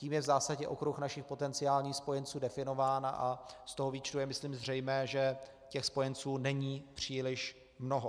Tím je v zásadě okruh našich potenciálních spojenců definován a z toho výčtu je, myslím, zřejmé, že těch spojenců není příliš mnoho.